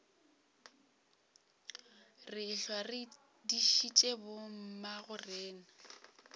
re ehlwa re dišitše bommagorena